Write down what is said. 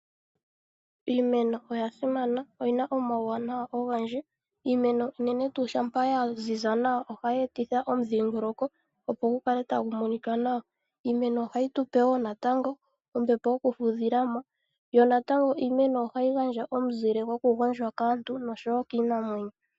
Iimeno oya simana oyina omauwanawa ogendji. Iimeno unene tuu shampa ya ziza nawa, ohayi e titha omudhingoloko opo gu kale tagu monika nawa. Iimeno ohayi tupe natango ombepo yoku fudhila po, yo natango iimeno ohayi gandja omuzile goku gondjwa kaantu noshowo kiinamwenyo.